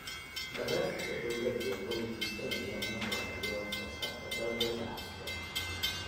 Barnaamijka dawladdu waxa uu higsanayaa in la horumariyo wax soo saarka dalagga ganacsiga.